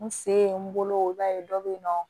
N se ye n bolo i b'a ye dɔ bɛ yen nɔ